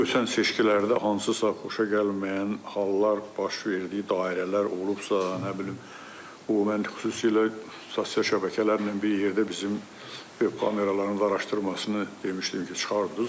Ötən seçkilərdə hansısa xoşagəlməyən hallar baş verdiyi dairələr olubsa, nə bilim, o mən xüsusilə sosial şəbəkələrlə bir yerdə bizim web kameraların da araşdırılmasını demişdim ki, çıxardınız.